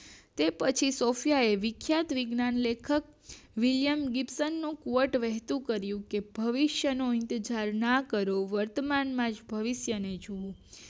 તો પછી સૉફયા એ વિખ્યાત વિજ્ઞાન લેખક મૂલ્યાંકન વિતરણ નો કોટ વહેતો કર્યો કે ભવિષ્યનો ઇતઝાર ના કરો વર્તમાનમાં ભવિષ્ય જુઓ